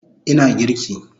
Ina girki